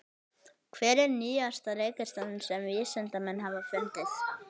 Hver er nýjasta reikistjarnan sem vísindamenn hafa fundið?